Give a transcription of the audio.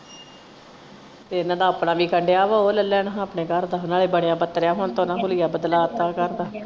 ਤੇ ਇਹਨਾਂ ਦਾ ਆਪਣਾ ਵਿਕਣ ਦਿਆ ਵਾ ਉਹ ਲੱਲਣ ਆਪਣੇ ਘਰ ਦਾ ਨਾਲੇ ਬਣਿਆ ਬੱਤਰਿਆ ਹੁਣ ਹੁਲੀਆ ਬਦਲਾ ਤਾ ਘਰ ਦ ਆ.